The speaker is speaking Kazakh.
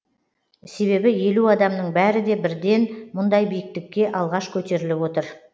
себебі елу адамның бәрі де бірден мұндай биіктікке алғаш көтеріліп отыр